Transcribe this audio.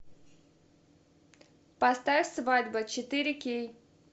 поставь свадьба четыре кей